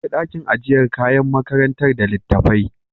Akwai dakin ajiyar kayan makarantar da litattafai